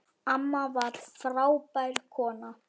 Amma var frábær kona.